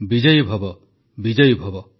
ବିଜୟୀ ଭବ ବିଜୟୀ ଭବ